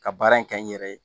Ka baara in kɛ n yɛrɛ ye